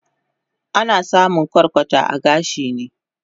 Ana samun kwarkwata a gashi ne